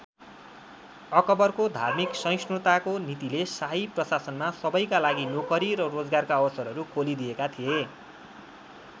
अकबरको धार्मिक सहिष्णुताको नीतिले शाही प्रशासनमा सबैका लागि नोकरी र रोजगारका अवसरहरू खोली दिएका थिए।